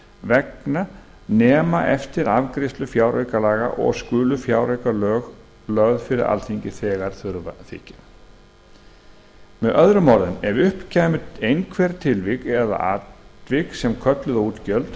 vegna nema eftir afgreiðslu fjáraukalaga og skulu fjáraukalög lögð fyrir alþingi þegar þurfa þykir með öðrum orðum ef upp kæmu einhver tilvik eða atvik sem kölluðu á útgjöld